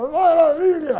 Uma maravilha